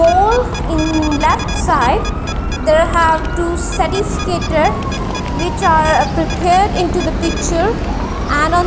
holes in left side there have to certificated which are prepared into the picture and on--